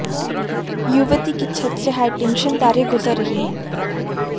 युवती की छत से हाईटेंशन तारें गुजर रही हैं